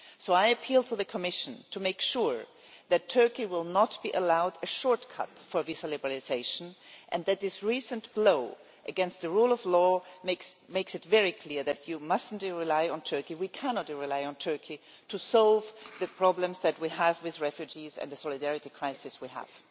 So I appeal to the Commission to make sure that Turkey will not be allowed a shortcut for visa liberalisation and that this recent blow against the rule of law makes it very clear that you must not rely on Turkey, we cannot rely on Turkey, to solve the problems that we have with refugees and the solidarity crisis we have.